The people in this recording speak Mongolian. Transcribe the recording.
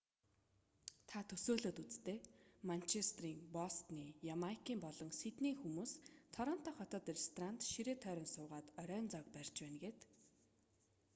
та төсөөлөөд үз дээ манчестерийн бостоны ямайкын болон сиднейн хүмүүс торонто хотноо ресторанд ширээ тойрон суугаад оройн зоог барьж байна гээд